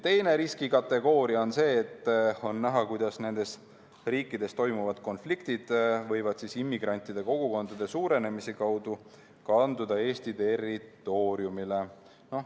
Teine riskikategooria on see, et on näha, kuidas nendes riikides toimuvad konfliktid võivad immigrantide kogukondade suurenemise kaudu kanduda Eesti territooriumile.